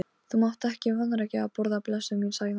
Þú mátt ekki vanrækja að borða, blessuð mín, sagði amma.